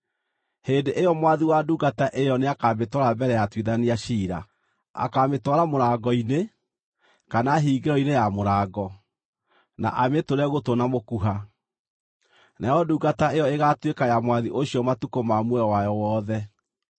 hĩndĩ ĩyo mwathi wa ndungata ĩyo nĩakamĩtwara mbere ya atuithania ciira. Akaamĩtwara mũrango-inĩ, kana hingĩro-inĩ ya mũrango, na amĩtũre gũtũ na mũkuha. Nayo ndungata ĩyo ĩgaatuĩka ya mwathi ũcio matukũ ma muoyo wayo wothe.